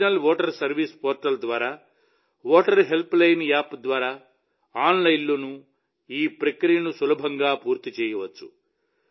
national voter service portal ద్వారా voter helpline app ద్వారా ఆన్లైన్లో ఈ ప్రక్రియను సులభంగా పూర్తి చేయవచ్చు